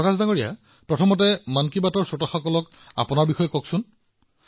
প্ৰকাশজী প্ৰথমে মন কী বাতৰ আমাৰ সকলো শ্ৰোতাক বিষয়ে নিজৰ বিষয়ে কওক